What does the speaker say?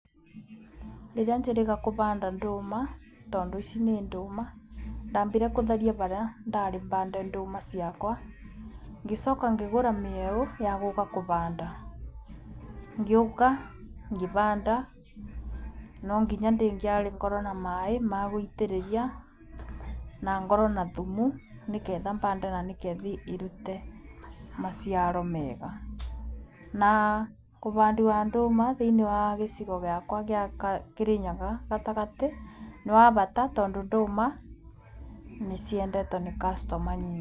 Rĩrĩa njĩrĩga kũvanda ndũma, tondũ ici nĩ ndũma, ndambire gũtheria harĩa ndarĩ bande ndũma ciakwa. Ngĩcoka ngĩgũra mĩeũ ya gũka kũvanda, ngĩũka ngĩvanda, no nginya ndĩngĩarĩ ngorwo na maaĩ magũitĩrĩria na ngorwo na thumu, nĩgetha bande na nĩgetha irute maciaro mega. Na ũvandi wa ndũma thĩiniĩ wa gĩcigo gĩakwa gĩa kĩrĩnyaga gatagatĩ, nĩ wa bata, tondũ ndũma nĩciendetwo nĩ customers nyingĩ.